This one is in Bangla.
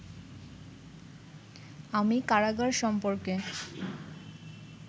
আমি কারাগার সম্পর্কে